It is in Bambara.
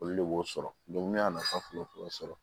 Olu de b'o sɔrɔ ne y'a nafa fɔ sɔrɔ